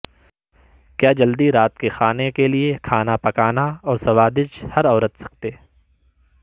کیا جلدی رات کے کھانے کے لئے کھانا پکانا اور سوادج ہر عورت سکتے